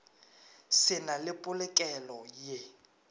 se na le polokelo ye